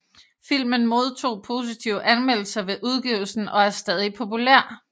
Filmen modtog positive anmeldelser ved udgivelsen og er stadig populær